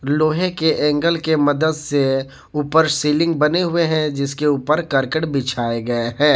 लोहे के एंगल के मदद से ऊपर सीलिंग बने हुए हैं जिसके ऊपर करकट बिछाए गए हैं।